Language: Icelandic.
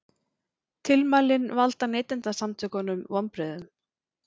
Tilmælin valda Neytendasamtökunum vonbrigðum